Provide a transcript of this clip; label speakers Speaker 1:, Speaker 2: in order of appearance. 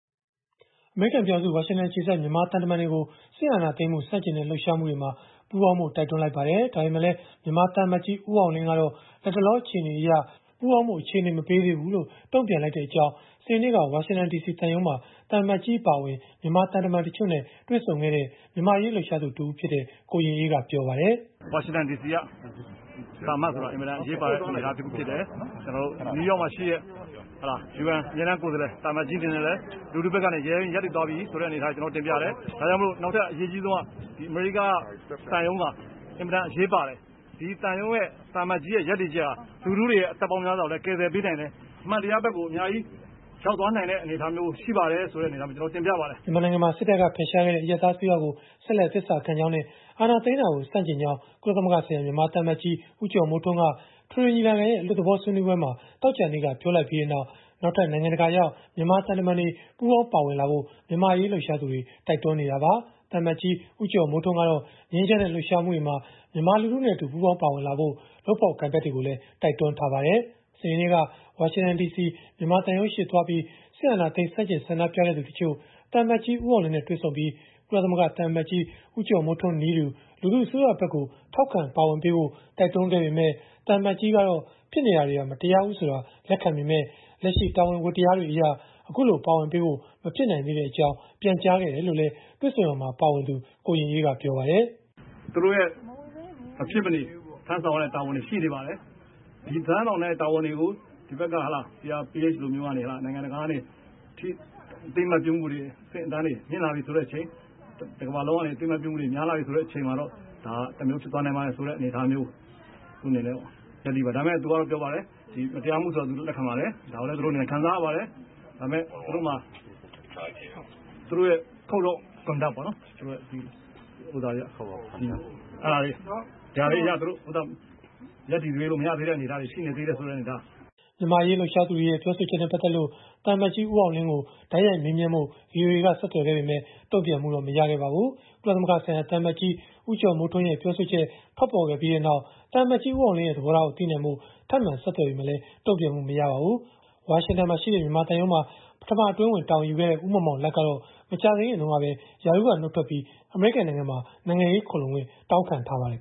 Speaker 1: အမေရိကန်ပြည်ထောင်စု ဝါရှင်တန်အခြေစိုက် မြန်မာသံတမန်တွေကို စစ်အာဏာသိမ်းမှု ဆန့်ကျင်တဲ့ လှုပ်ရှားမှုတွေမှာ ပူးပေါင်းဖို့ တိုက်တွန်းလိုက်ပါတယ်။ ဒါပေမဲ့လည်း မြန်မာသံအမတ်ကြီး ဦးအောင်လင်းကတော့ လတ်တလော အခြေအနေအရ ပူးပေါင်းဖို့ အခြေအနေ မပေးသေးဘူးလို့ တုံ့ပြန်လိုက်ကြောင်း စနေနေ့က ဝါရှင်တန်ဒီစီသံရုံးမှာ သံအမတ်ကြီး အပါအဝင် မြန်မာသံတမန်တွေနဲ့ တွေ့ဆုံခဲ့တဲ့ မြန်မာ့အရေးလှုပ်ရှားသူ ကိုရင်အေးက ပြောပါတယ်။ “
Speaker 2: ဝါရှင်တန်ဒီစီက သံအမတ်ဆိုတာ အင်မတန်အရေးပါတဲ့ သံတမန်တဦးဖြစ်တယ်။ UN အမြဲတမ်းကိုယ်စားလှယ် သံအမတ်ကြီး အနေနဲ့လည်း လူထုဖက်ကနေ ရဲရဲရင့်ရင့် ရပ်တည်သွားပြီ ဆိုတဲ့အနေအထားကိုလည်း ကျနော်တို့ တင်ပြတယ်။ နောက်ထပ် အရေးအကြီးဆုံးက အမေရိကန်က သံရုံးတွေမှာ အင်မတန်အရေးပါတဲ့ သံရုံးရဲ့ သံအမတ်ကြီးရဲ့ ရပ်တည်ချက်က လူထုတွေရဲ့ အသက်ပေါင်းများစွာကိုလည်း ကယ်ဆယ်ပေးနိုင်တယ်၊ အမှန်တရားဖက်ကို အများကြီးကို ရောက်သွားနိုင်တဲ့ အနေအထား ဆိုတာမျိုးကို ကျနော်တို့ တင်ပြပါတယ်
Speaker 1: ။” မြန်မာနိုင်ငံမှာ စစ်တပ်က ဖယ်ရှားခဲ့တဲ့ အရပ်သားအစိုးရကို ဆက်လက် သစ္စာခံကြောင်းနဲ့ အာဏာသိမ်းတာကို ဆန့်ကျင်ကြောင်း ကုလသမဂ္ဂဆိုင်ရာ မြန်မာသံအမတ်ကြီး ဦးကျော်မိုးထွန်းက အထွေထွေညီလာခံရဲ့ အလွတ်သဘောဆွေးနွေးပွဲမှာ သောကြာနေ့က ပြောဆိုလိုက်ပြီးနောက် နောက်ထပ် နိုင်ငံတကာရောက် မြန်မာသံတမန်တွေ ပူးပေါင်းပါဝင်လာဖို့ မြန်မာ့အရေး လှုပ်ရှားသူတွေ တိုက်တွန်းနေကြတာပါ။ သံအမတ်ကြီး ဦးကျော်မိုးထွန်းကတော့ ငြိမ်းချမ်းတဲ့ လှုပ်ရှားမှုတွေမှာ မြန်မာလူထုနဲ့အတူ ပူးပေါင်းပါဝင်ကြဖို့ လုပ်ဖော်ကိုင်ဖက်တွေကိုလည်း တိုက်တွန်းထားပါတယ်။ ဒါပေမဲ့လည်း ဖေဖေါ်ဝါရီ ၂၇ ဝါရှင်တန်ဒီစီမြန်မာသံရုံးရှေ့ကို သွားရောက်ပြီး စစ်အာဏာသိမ်း ဆန့်ကျင်ဆန္ဒပြခဲ့သူ တချို့က သံအမတ်ကြီး ဦးအောင်လင်းနဲ့တွေ့ဆုံပြီး ကုလသမဂ္ဂသံအမတ်ကြီး ဦးကျော်မိုးထွန်းနည်းတူ လူထုအစိုးရဘက်ကို ထောက်ခံပါဝင်ပေးဖို့ တိုက်တွန်းခဲ့ပေမယ့် သံအမတ်ကြီးကတော့ - ဖြစ်နေတာတွေဟာ မတရားဘူးဆိုတာ လက်ခံပေမယ့် လက်ရှိတာဝန် ဝတ္တရားတွေအရ အဲဒီလို ပါဝင်ပေးဖို့ မဖြစ်နိုင်သေးကြောင်း ပြန်ကြားခဲ့ပါတယ်လို့ ကိုရင်အေးက ပြောပါတယ်။
Speaker 2: “သူတို့ရဲ့ မဖြစ်မနေ ထမ်းဆောင်ရတဲ့ တာဝန်တွေ ရှိနေပါတယ်။ ဒီထမ်းဆောင်တဲ့ တာဝန်တွေကို ဒီဖက်က CRPH လိုမျိုး နိုင်ငံတကာကနေ အသိအမှတ်ပြုမှုတွေ အဆင့်အတန်းတွေ မြင့်လာပြီ ဆိုလို့ရှိရင်၊ တကမ္ဘာလုံးကနေ အသိအမှတ်ပြုမှုတွေ များလာပြီ ဆိုတဲ့အချိန်မှာတော့ ဒါက တမျိုးဖြစ်သွားနိုင်ပါတယ် ဆိုတဲ့အနေအထားမျိုး။ ဒါပေမဲ့ သူကတော့ ပြောပါတယ်၊ ဒါတွေက မတရားမှုဆိုတာ သူလည်း လက်ခံပါတယ်၊ ဒါကိုလည်း သူတို့ ခံစားရပါတယ်။ ဒါပေမဲ့သူတို့မှာ Code of Conduct ပေါ့နော်၊ ဒါတွေအရ ရပ်တည်ပေးလို့ မရသေးတဲ့ အနေအထားတွေ ရှိနေသေးတယ်ဆိ
Speaker 1: ုတာမျိုးတွေ ပြောပါတယ်။” မြန်မာ့အရေး လှုပ်ရှားသူတွေရဲ့ ပြောဆိုချက်နဲ့ ပတ်သက်လို့ သံအမတ်ကြီး ဦးအောင်လင်းကို တိုက်ရိုက် မေးမြန်းဖို့ ဆက်သွယ်ပေမဲ့ တုံ့ပြန်မှုတော့ မရခဲ့ပါဘူး။ ကုလသမဂ္ဂဆိုင်ရာ သံအမတ်ကြီး ဦးကျော်မိုးထွန်းရဲ့ ပြောဆိုချက် ထွက်ပေါ်ခဲ့ပြီးနောက် သံအမတ်ကြီး ဦးအောင်လင်းရဲ့ သဘောထားကို သိနိုင်ဖို့ ထပ်မံဆက်သွယ်ခဲ့ပေမဲ့လည်း တုံ့ပြန်မှု မရခဲ့ပါဘူး။ ဝါရှင်တန်မှာရှိတဲ့ မြန်မာသံရုံးမှာ ပထမအတွင်းဝန်အဖြစ် တာဝန်ယူခဲ့တဲ့ ဦးမောင်မောင်လတ်ကတော့ မကြာသေးခင်ကပဲ ရာထူးကနေ နုတ်ထွက်ပြီး အမေရိကန်နိုင်ငံမှာ နိုင်ငံရေးခိုလှုံခွင့် တောင်းခံထားပါတယ်